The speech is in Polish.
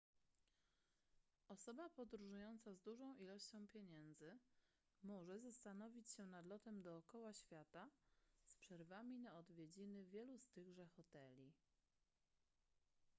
osoba podróżująca z dużą ilością pieniędzy może zastanowić się nad lotem dookoła świata z przerwami na odwiedziny wielu z tychże hoteli